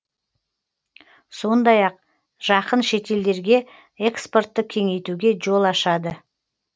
сондай ақ жақын шетелдерге экспортты кеңейтуге жол ашады